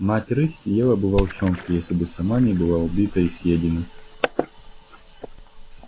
мать рысь съела бы волчонка если бы сама не была убита и съедена